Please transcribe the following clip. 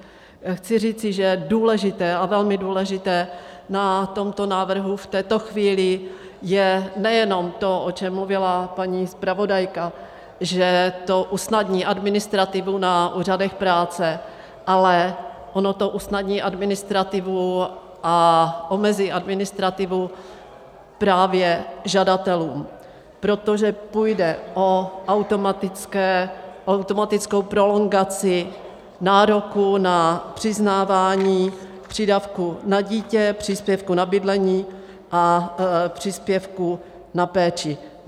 Chci říci, že důležité a velmi důležité na tomto návrhu v této chvíli je nejenom to, o čem mluvila paní zpravodajka, že to usnadní administrativu na úřadech práce, ale ono to usnadní administrativu a omezí administrativu právě žadatelům, protože půjde o automatickou prolongaci nároku na přiznávání přídavku na dítě, příspěvku na bydlení a příspěvku na péči.